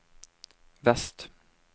vest